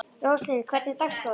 Róslind, hvernig er dagskráin?